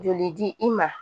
Joli di i ma